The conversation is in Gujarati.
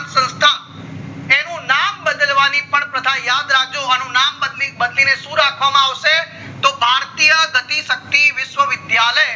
સંસ્થા એનું નામ બદલવા ની પણ પ્રથા યાદ રાખજો અનુ નામ બદલીને શું રાખવામાં આવશે તો ભારતીય સતી સકતી વિશ્વ વીસ=દ્યાલય